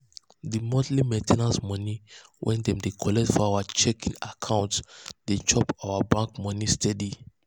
the monthly main ten ance money wey dem dey collect for our checking account dey chop our bank money steady.